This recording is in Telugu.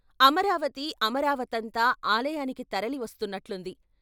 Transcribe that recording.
అమరావతి అమరావతంతా ఆలయానికి తరలి వస్తున్నట్లుంది.